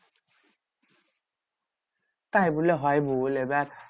তাই বললে হয় বল এবার?